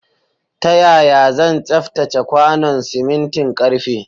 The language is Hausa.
Ta yaya zan tsaftace kwanon simintin ƙarfe?